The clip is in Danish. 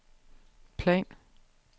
plan